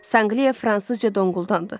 Sanqliya fransızca donqultandı.